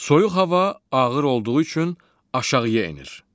Soyuq hava ağır olduğu üçün aşağıya enir.